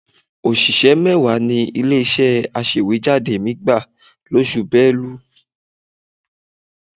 Òṣìṣẹ́ mẹ́wàá ni ilé-iṣẹ́ aṣèwéjádé mi gbà lóṣù Belu